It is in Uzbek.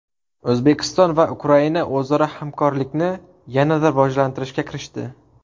O‘zbekiston va Ukraina o‘zaro hamkorlikni yana rivojlantirishga kirishdi.